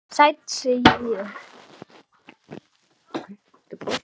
Sæll, segi ég.